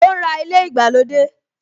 O ń ra ilé ìgbàlódé